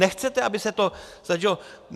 Nechcete, aby se to začalo?